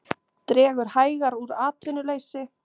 Dregur hægar úr atvinnuleysi